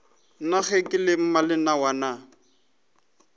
na ge ke le mmalenawana